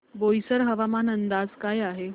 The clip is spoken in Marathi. बोईसर हवामान अंदाज काय आहे